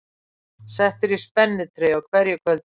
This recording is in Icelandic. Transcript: Settur í spennitreyju á hverju kvöldi